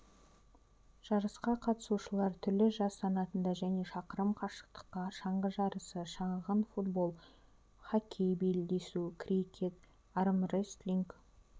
жарысқа қатысушылар түрлі жас санатында және шақырым қашықтыққа шаңғы жарысы шағын футбол хоккей белдесу крикет армрестлинг